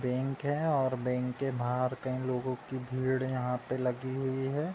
Bank है और bank के बाहर कई लोगों की भीड़ यहां पे लगी हुई है।